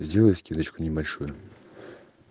сделай скидочку небольшую